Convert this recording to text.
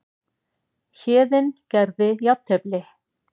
Héðinn gerði jafntefli